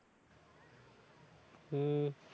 হম